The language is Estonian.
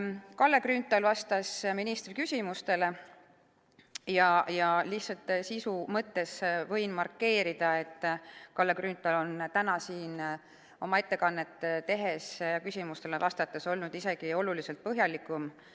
Kalle Grünthal vastas ministri küsimustele ja lihtsalt sisu mõttes võin markeerida, et Kalle Grünthal on täna siin oma ettekannet tehes ja küsimustele vastates olnud isegi oluliselt põhjalikum.